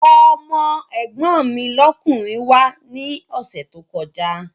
Ọmọ́ ẹ̀gbọ́n mi lọ́kùnrin wá ní ọ̀sẹ̀ tó kọjá